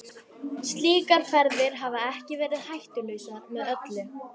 Slíkar ferðir hafa ekki verið hættulausar með öllu.